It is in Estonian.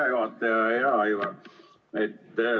Hea juhataja ja hea Aivar!